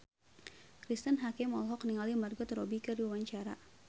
Cristine Hakim olohok ningali Margot Robbie keur diwawancara